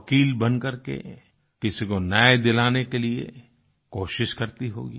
वकील बन करके किसी को न्याय दिलाने के लिए कोशिश करती होगी